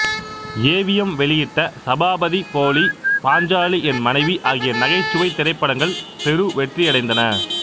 AVM வெளியிட்ட சபாபதி போலி பாஞ்சாலி என் மனைவி ஆகிய நகைச்சுவைத் திரைப்படங்கள் பெருவெற்றியடைந்தன